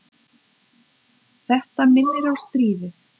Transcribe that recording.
Þetta minnir á stríðið.